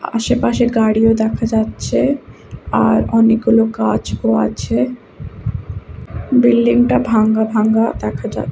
আশেপাশে গাড়িও দেখা যাচ্ছে আর অনেকগুলো গাছও আছে বিল্ডিং টা ভাঙ্গা ভাঙ্গা দেখা যা--